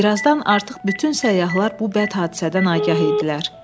Bir azdan artıq bütün səyyahlar bu bəd hadisədən agah idilər.